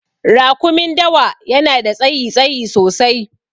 Rakumin dawa yanada tsayi, tsayi sosai